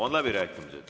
Avan läbirääkimised.